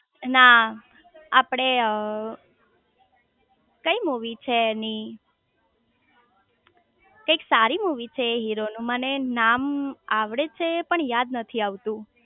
ના આપડે કઈ મુવી છે એની કંઈક સારી મુવી છે એ હીરો નું મને નામ આવડે છે પણ યાદ નથી આવતું